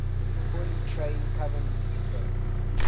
poorly trained covenanter